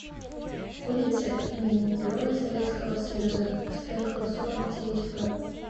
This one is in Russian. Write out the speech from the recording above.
улица имени героя советского союза спекова сорок девять в